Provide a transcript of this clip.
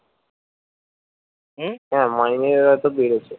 হম হ্যা মাইনে এবার তো বেড়েছে